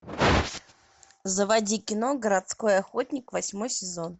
заводи кино городской охотник восьмой сезон